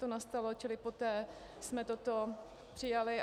To nastalo, čili poté jsme toto přijali.